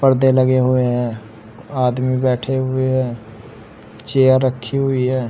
परदे लगे हुए हैं आदमी बैठे हुए हैं चेयर रखी हुई है।